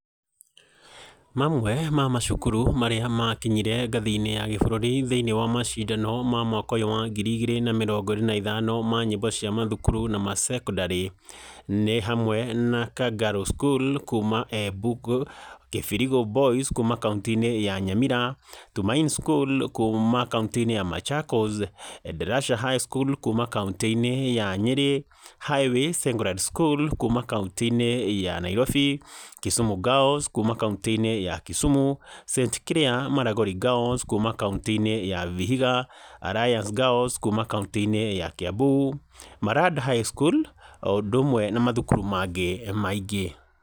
Mamwe ma macukuru marĩa makinyire ngathĩinĩ ya gĩbũrũri thĩinĩ wa macindano ma mwaka ũyũ wa ngiri igĩrĩ na mĩrongo ĩrĩ na ithano ma nyĩmbo cia mathukuru na macekondarĩ nĩ hamwe na Kangaru School kuma Embu, Kĩbirigũ Boys kuma kauntĩ ya Nyamira, Tumaini School kuma kauntĩinĩ ya Machakos, Endarasha High School kuma kauntĩinĩ ya Nyĩrĩ, Highway Secondary school kuma kauntĩinĩ ya Nairobi, Kisumu Girls kuma kauntĩinĩ ya Kisumu, St Claire Maragoli Girls kuma kauntĩinĩ ya Vihiga, Alliance Girls kuma kauntĩinĩ ya Kiambu, Maranda High School o ũndũmwe na mathukuru mangĩ maingĩ.